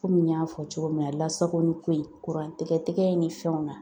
Komi n y'a fɔ cogo min na, lasakoli ko in, kuran tɛgɛ tɛgɛ in ni fɛnw na.